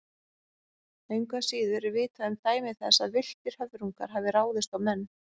Engu að síður er vitað um dæmi þess að villtir höfrungar hafi ráðist á menn.